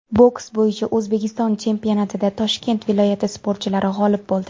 Boks bo‘yicha O‘zbekiston chempionatida Toshkent viloyati sportchilari g‘olib bo‘ldi.